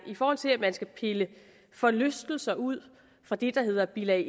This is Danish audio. i forhold til at man skal pille forlystelser ud fra det der hedder bilag